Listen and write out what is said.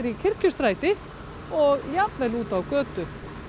Kirkjustræti og jafnvel út á götu